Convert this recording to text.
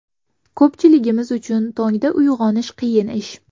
Ko‘pchiligimiz uchun tongda uyg‘onish qiyin ish.